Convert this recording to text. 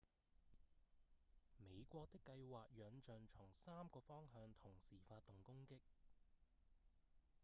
美國的計畫仰仗從三個方向同時發動攻擊